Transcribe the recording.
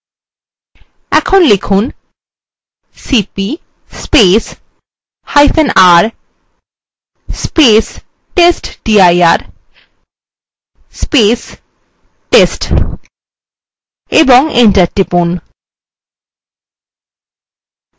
এখন লিখুন cpr testdir/test ও enter টিপুন